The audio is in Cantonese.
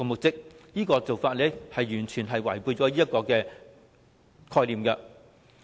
這種做法是完全違背了有關概念。